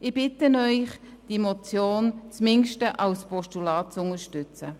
Ich bitte Sie, diese Motion zumindest als Postulat zu unterstützen.